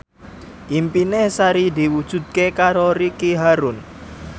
impine Sari diwujudke karo Ricky Harun